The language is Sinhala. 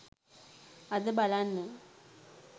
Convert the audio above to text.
අද බලන්න